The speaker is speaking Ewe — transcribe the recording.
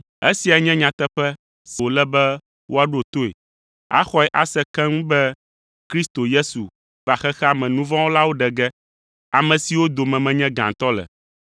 Esia nye nyateƒenya si wòle be woaɖo toe, axɔe ase keŋ be Kristo Yesu va xexea me nu vɔ̃ wɔlawo ɖe ge, ame siwo dome menye gãtɔ le.